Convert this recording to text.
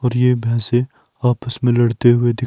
और ये भैंसे आपस में लड़ते हुए दि--